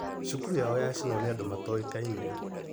Cukuru yao yacinwo nĩ andũ matoĩkaine.